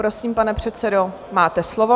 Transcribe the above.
Prosím, pane předsedo, máte slovo.